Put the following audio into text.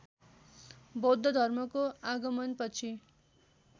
बौद्ध धर्मको आगमनपछि